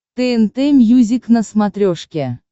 тнт мьюзик на смотрешке